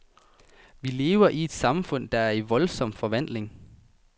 Vi lever i et samfund, der er i voldsom forvandling.